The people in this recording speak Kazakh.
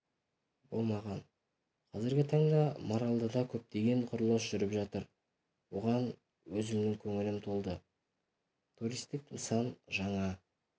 болмаған қазіргі таңда маралдыда көптеген құрылыс жүріп жатыр оған өзімнің көңілім толды туристік нысан жаңа